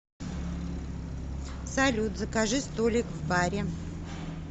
салют закажи столик в баре